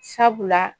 Sabula